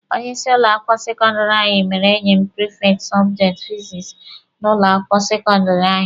Onye ịsị ụlọ akwụkwọ sekọndịrị anyị mere enyi m prifekti sọbjekti fizikisi n'ụlọ akwụkwọ sekọndịrị anyị.